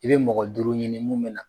I bɛ mɔgɔ duuru ɲini mun mɛ na